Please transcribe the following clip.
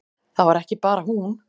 Það var ekki bara hún.